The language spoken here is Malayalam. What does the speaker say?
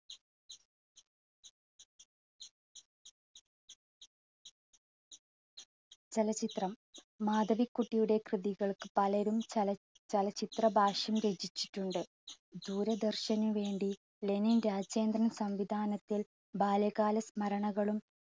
ചലച്ചിത്രം, മാധവിക്കുട്ടിയുടെ കൃതികൾക്ക് പലരും ചല~ചലച്ചിത്ര ഭാഷ്യം രചിച്ചിട്ടുണ്ട്. ദൂരദർശനുവേണ്ടി ലെനിൻ രാജേന്ദ്രൻ സംവിധാനത്തിൽ ബാലകാലസ്മരണകളും